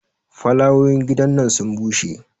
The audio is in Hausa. folawoyin gidan nan sun bushe